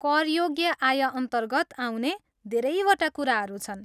करयोग्य आयअन्तर्गत आउने धेरैवटा कुराहरू छन्।